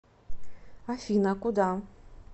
афина куда